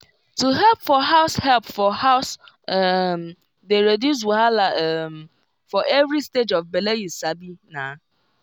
to help for house help for house um dey reduce wahala um for every stage of bele you sabi na